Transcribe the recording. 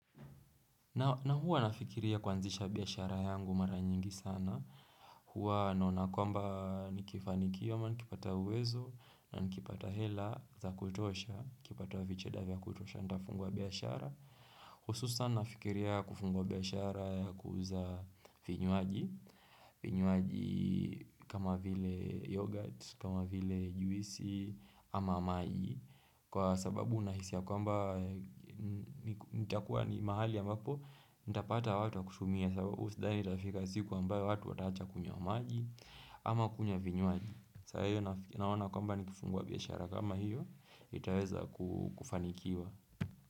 Na huwa nafikiria kuanzisha biashara yangu mara nyingi sana. Huwa ninaona kwamba nikifanikiwa, nikipata uwezo, na nikipata hela za kutosha, kipata vicheda vya kutosha nitafungwa biashara. Hususan nafikiria kufungua biashara ya kuuza vinywaji, vinywaji kama vile yoghurt, kama vile juisi, ama maji. Kwa sababu nahisi ya kwamba nitakuwa ni mahali ambapo Nitapata watu wa kutumia sababu sidani itafika siku ambayo watu wataacha kunywa maji Ama kunywa vinywaji sa hiyo naona kwamba nikifungua biashara kama hiyo niItaweza kufanikiwa.